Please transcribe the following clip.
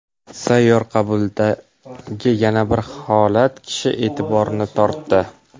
Sayyor qabuldagi yana bir holat kishi e’tiborini tortdi.